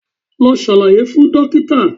Lọ ṣàlàyé fún dókítà̀